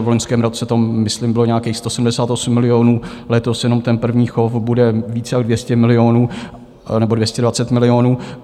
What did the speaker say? V loňském roce to myslím bylo nějakých 178 milionů, letos jenom ten první chov bude víc jak 200 milionů, nebo 220 milionů.